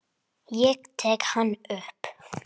Ég tek hann upp.